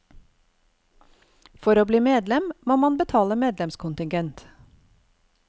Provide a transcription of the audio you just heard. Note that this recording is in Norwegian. For å bli medlem må man betale medlemskontigent.